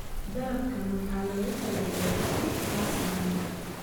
Dalabkaan waxaa loogu talagalay cabdi kasna aniga